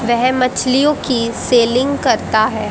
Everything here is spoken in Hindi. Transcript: वेह मछलियो की सेलिंग कराता है।